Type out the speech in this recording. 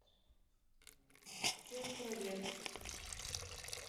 сестрорецк